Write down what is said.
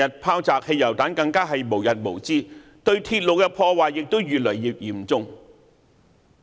拋擲汽油彈的事件更無日無之，對鐵路的破壞亦越來越嚴重！